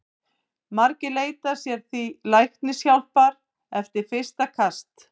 Margir leita sér því læknishjálpar eftir fyrsta kast.